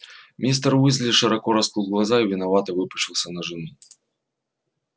мистер уизли широко раскрыл глаза и виновато выпучился на жену